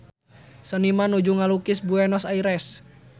Seniman nuju ngalukis Buenos Aires